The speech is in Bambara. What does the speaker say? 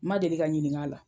N ma deli ka ɲininka a la.